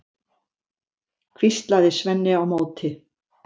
hvíslaði Svenni á móti.